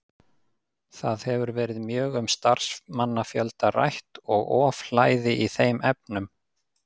Það hefur verið mjög um starfsmannafjölda rætt og ofhlæði í þeim efnum.